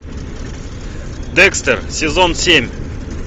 декстер сезон семь